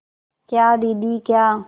क्या दीदी क्या